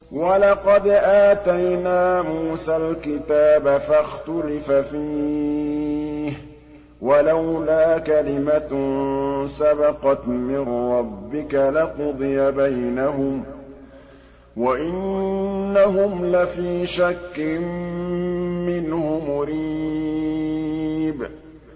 وَلَقَدْ آتَيْنَا مُوسَى الْكِتَابَ فَاخْتُلِفَ فِيهِ ۚ وَلَوْلَا كَلِمَةٌ سَبَقَتْ مِن رَّبِّكَ لَقُضِيَ بَيْنَهُمْ ۚ وَإِنَّهُمْ لَفِي شَكٍّ مِّنْهُ مُرِيبٍ